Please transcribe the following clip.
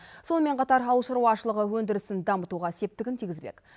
сонымен қатар ауыл шаруашылығы өндірісін дамытуға септігін тигізбек